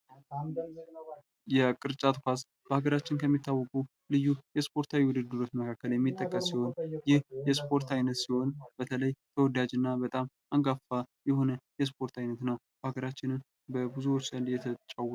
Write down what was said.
የቅርጫት ኳስ በሀገራችን ከሚታወቁ ልዩ የስፖርት አይነቶች የሚጠቀስ ሲሆን በተለይ ተወዳጅና በጣም አንጋፋ የሆነ የስፖርት አይነት ነው። በሃገራችን በብዙዎች ዘንድ እየተጫወቱት ይገኛል።